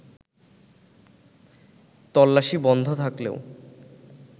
তল্লাশি বন্ধ থাকলেও